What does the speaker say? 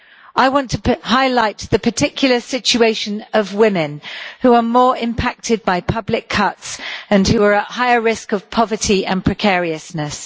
I want to highlight the particular situation of women, who are more impacted by public cuts and are at higher risk of poverty and precariousness.